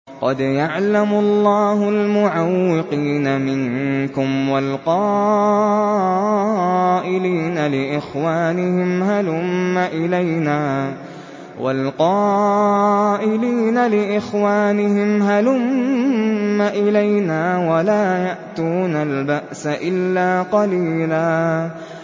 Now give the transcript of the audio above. ۞ قَدْ يَعْلَمُ اللَّهُ الْمُعَوِّقِينَ مِنكُمْ وَالْقَائِلِينَ لِإِخْوَانِهِمْ هَلُمَّ إِلَيْنَا ۖ وَلَا يَأْتُونَ الْبَأْسَ إِلَّا قَلِيلًا